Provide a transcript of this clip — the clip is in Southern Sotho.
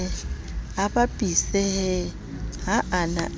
a bapisehe ha a na